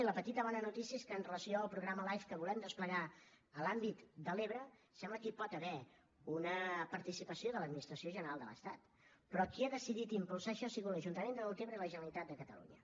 i la petita bona notícia és que amb relació al programa life que volem desplegar a l’àmbit de l’ebre sembla que hi pot haver una participació de l’administració general de l’estat però qui ha decidit impulsar això ha sigut l’ajuntament de deltebre i la generalitat de catalunya